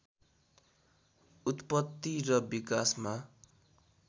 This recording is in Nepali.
उत्पत्ति र विकासमा